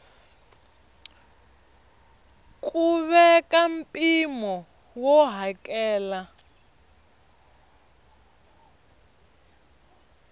ku veka mpimo wo hakela